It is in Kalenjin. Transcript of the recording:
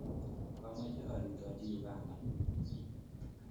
Kamache arutochi Uganda